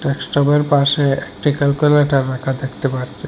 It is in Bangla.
ডেক্সটপের পাশে একটি ক্যালকুলেটর রাখা দেখতে পারছি।